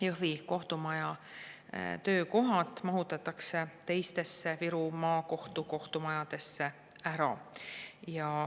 " Jõhvi kohtumaja töökohad mahutatakse teistesse Viru Maakohtu kohtumajadesse ära.